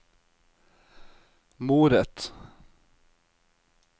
moret